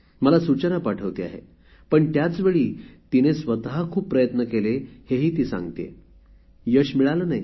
मला सूचना पाठवते आहे पण त्याचवेळी तिने स्वत खूप प्रयत्न केले हे ही ती सांगते आहे पण यश मिळाले नाही